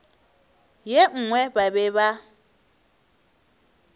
ye nngwe ba be ba